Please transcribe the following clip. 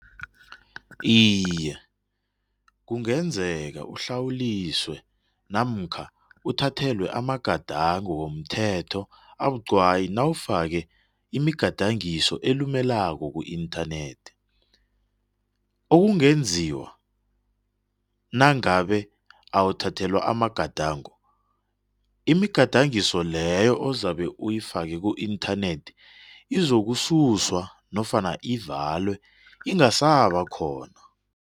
Iye kungenzeka uhlawuliswe namkha uthathelwe amagadango womthetho abuqwayi nawufake imigadangiso elilumelako ku-internet okungenziwa nangabe awuthathelwa amagadango, imigadangiso leyo ozabe uyifake ku-internet izokususwa nofana ivulwe isangaba khona.